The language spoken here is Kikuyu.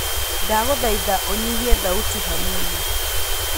ndagũthaitha ũnyihie thauti hanini